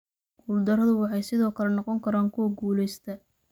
Guuldarradu waxay sidoo kale noqon karaan kuwa guulaysta.